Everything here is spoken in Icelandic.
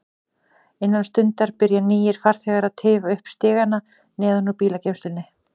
Innan stundar byrja nýir farþegar að tifa upp stigana neðan úr bílageymslunni.